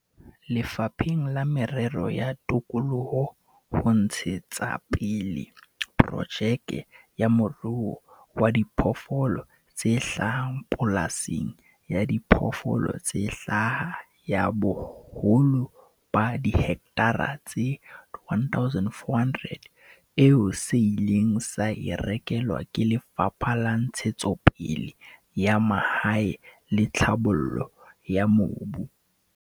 Lefapheng la Merero ya Tikoloho ho ntshe tsapele projeke ya moruo wa diphoofolo tse hlaha pola sing ya diphoofolo tse hlaha ya boholo ba dihekthara tse 1 400, eo se ileng sa e rekelwa ke Lefapha la Ntshetsopele ya Mahae le Tlhabollo ya Mobu.